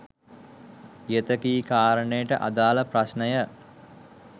ඉහත කී කාරණයට අදාළ ප්‍රශ්නය